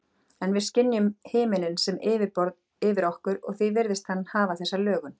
En við skynjum himininn sem yfirborð yfir okkur og því virðist hann hafa þessa lögun.